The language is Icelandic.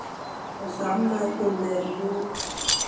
Svo þrammaði hún með rjúpnakippuna ofan í kjallara.